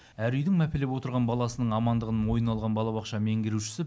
әр үйдің мәпелеп отырған баласының амандығын мойнына алған балабақша меңгерушісі